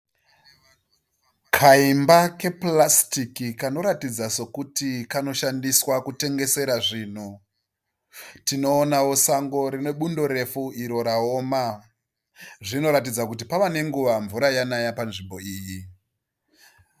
Kaimba kepurasitiki kanoratidza kuti kanotengeserwa zvinhu. Tinoonawo sango rine bundo refu rakaoma. Zvinoratidza kuti pava nenguva refu mvura yanaya panzvimbo iyi.